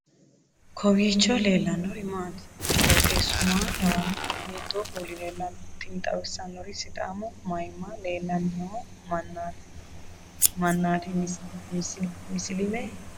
kowiicho leellannori maati ? qooxeessu maa lawaanno ? hiitoo kuuli leellanno ? tini xawissannori sidaamu mayimma leellanni noo mannaati misilime nooikka kowiicho